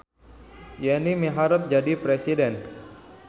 Yeni miharep jadi presiden